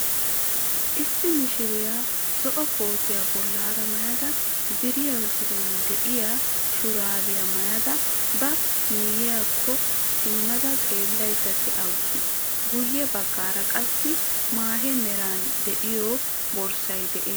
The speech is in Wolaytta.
Issi mishiriya zo"o kootiyaa bollaara maayada ziroy ziroy de"iyoo shuraabiya maayada ba miyiyaakko simmada xeellayda dawus. Guyye baggaara qassi maahiyaa meray de"iyo borssay de'ees.